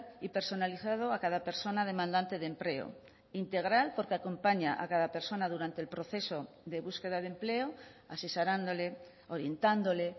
y personalizado a cada persona demandante de empleo integral porque acompaña a cada persona durante el proceso de búsqueda de empleo asesorándole orientándole